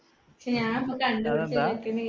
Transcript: പക്ഷേ ഞാൻ ഒന്നും